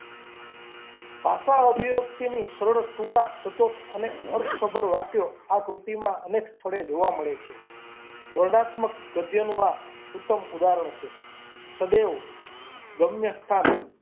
ભાષા-અભિવ્યક્તિ સરળ, ટૂંકા, સચોટ અને અર્થસભર વાક્યો આ કૃતિમાં અનેક સ્થળે જોવા મળે છે વર્ણનાત્મક ગદ્યનું આ ઉત્તમ ઉદાહરણ છે. સદેવ શમ્ય સ્થાન.